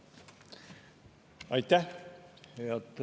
Aitäh!